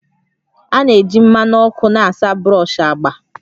A na-eji mmanụ ọkụ na-asa brush agba